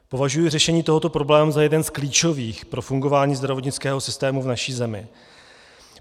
Považuji řešení tohoto problému za jeden z klíčových pro fungování zdravotnického systému v naší zemi.